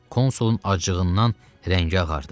Konsulun acığından rəngi ağardı.